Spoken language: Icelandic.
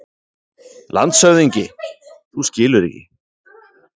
LANDSHÖFÐINGI: Þú skilur ekki!